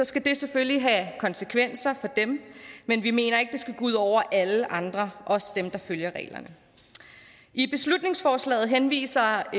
skal det selvfølgelig have konsekvenser for dem men vi mener ikke det skal gå ud over alle andre der følger reglerne i beslutningsforslaget henviser